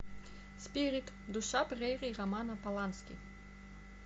спирит душа прерий романа полански